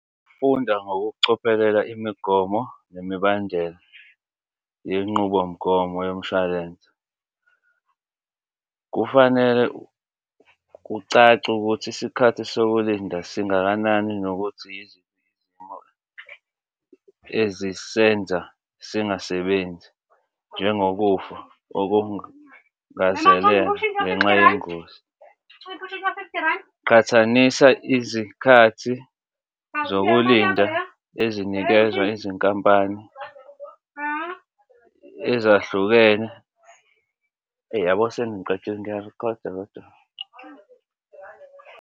Funda ngokucophelela imigomo nemibandela yenqubomgomo yomshwalense. Kufanele kucace ukuthi isikhathi sokulinda singakanani nokuthi yiziphi izimo ezisenza singasebenzi njengokufa okungazelelwe ngenxa yengozi. Qhathanisa izikhathi zokulinda ezinikezwa izinkampani ezahlukene. Eyi, uyabo seningiqedile. Ngiya-record-a kodwa .